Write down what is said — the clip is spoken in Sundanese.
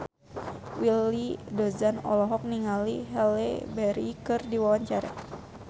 Willy Dozan olohok ningali Halle Berry keur diwawancara